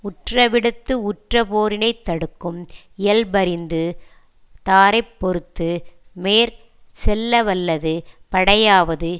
உற்றவிடத்து உற்றபோரினைத் தடுக்கும் இயல்பறிந்து தாரை பொறுத்து மேற் செல்லவல்லது படையாவது